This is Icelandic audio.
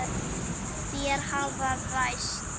Þær hafa ræst.